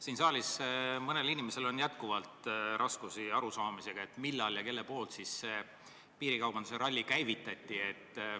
Siin saalis on mõnel inimesel jätkuvalt raskusi arusaamisega, millal ja kelle poolt see piirikaubanduse ralli käivitati.